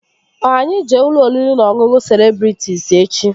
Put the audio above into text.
Ọ anyị jee ụlọ oriri na ọṅụṅụ Celebrịtịs echi?